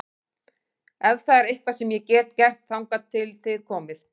Ef það er eitthvað sem ég get gert þangað til þið komið